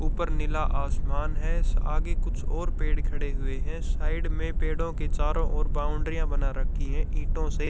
ऊपर नीला आसमान है आगे कुछ और पेड़ खड़े हुए हैं साइड में पेड़ों के चारों ओर बाउंड्रीयां बना रखी है ईंटों से।